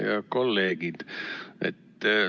Head kolleegid!